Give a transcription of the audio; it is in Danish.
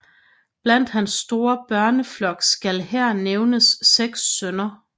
Blandt hans store børneflok skal her nævnes 6 sønner